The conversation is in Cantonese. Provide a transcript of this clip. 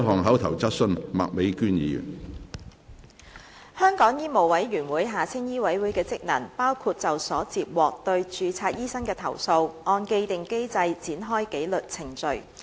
香港醫務委員會的職能，包括就所接獲對註冊醫生的投訴，按既定機制展開紀律程序。